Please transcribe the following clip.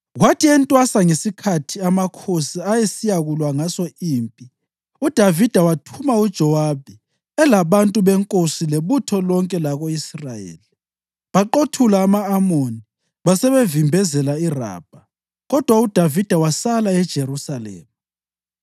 Kwathi entwasa, ngesikhathi amakhosi ayesiyakulwa ngaso impi, uDavida wathuma uJowabi elabantu benkosi lebutho lonke lako-Israyeli. Baqothula ama-Amoni basebevimbezela iRabha. Kodwa uDavida wasala eJerusalema.